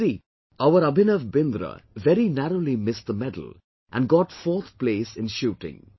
See, our Abhinav Bindra very narrowly missed the medal and got fourth place in Shooting